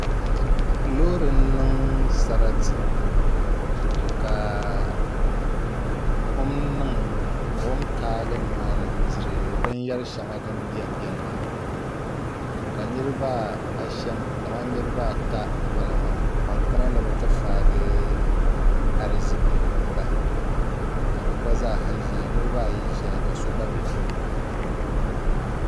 Loori n niŋ sarati ka buɣum taagi nimaani n diri binyɛri shɛŋa din biɛni biɛni maa ka niraba ashɛm kamani niraba ata n bala maa ban kana ni bi ti faagi ariziki bahi ka bi gba zaaha ʒɛya niraba ayi ʒɛya ka so gba bɛ tooni ha